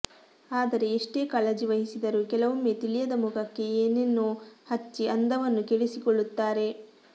ಆದರೆ ಎಷ್ಟೇ ಕಾಳಜಿ ವಹಿಸಿದರೂ ಕೆಲವೊಮ್ಮೆ ತಿಳಿಯದ ಮುಖಕ್ಕೆ ಏನೆನೋ ಹಚ್ಚಿ ಅಂದವನ್ನು ಕೆಡಿಸಿಕೊಳ್ಳತ್ತಾರೆ